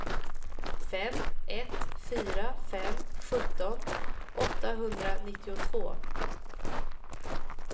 fem ett fyra fem sjutton åttahundranittiotvå